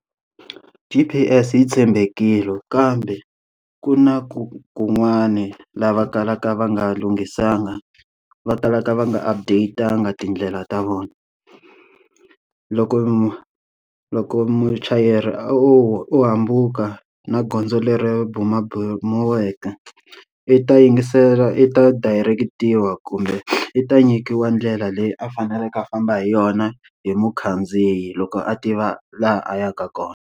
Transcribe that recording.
G_P_S yi tshembekile kambe ku na ku kun'wani laha va kalaka va nga lunghisanga va kalaka va nga update-anga tindlela ta vona. Loko mu loko muchayeri a o o hambuka na gondzo leri bumabumeriwaka, i ta yingisela i ta direct-iwa kumbe i ta nyikiwa ndlela leyi a faneleke a famba hi yona hi mukhandziyi loko a tiva laha a yaka kona.